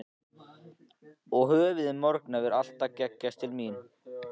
Og höfuðið morkna var alltaf að gægjast til mín.